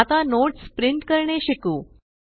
आता notes print करणे शिकू